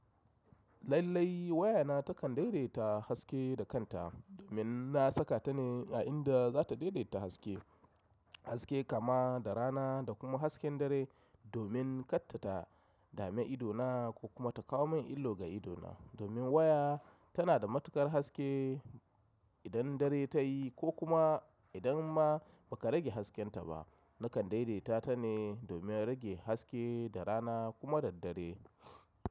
Lallai, waya na takan daidaita haske da kanta, domin na saka ta ne a inda za ta daidaita haske, haske kaman da rana da kuma hasken dare, domin katta ta, dame ido na ko kuma ta kawo min illo ga ido na. Domin waya, tana da matuƙar haske, idan dare ta yi ko kuma idan ma ba ka rage hasken ta ba. Nakan daidaita ta ne domin rage haske da rana kuma da dare.